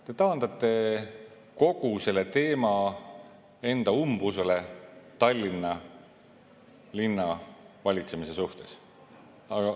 Te taandate kogu selle teema enda umbusule Tallinna linna valitsemise suhtes.